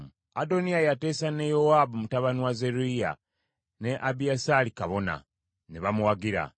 Adoniya yateesa ne Yowaabu mutabani wa Zeruyiya ne Abiyasaali kabona, ne baamuwagira.